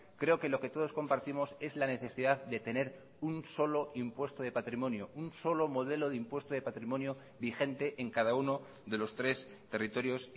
creo que lo que todos compartimos es la necesidad de tener un solo impuesto de patrimonio un solo modelo de impuesto de patrimonio vigente en cada uno de los tres territorios